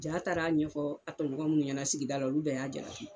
J'a taar'a ɲɛfɔ a tɛɲɔgɔn mun ɲɛna sigida la olu bɛɛ y'a jalaki